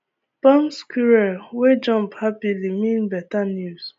palm squirrel wey jump happily mean better news